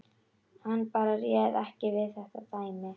Hann bara réð ekki við þetta dæmi.